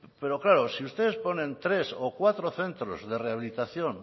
pero claro si ustedes ponen tres o cuatro centros de rehabilitación